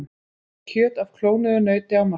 Kjöt af klónuðu nauti á markað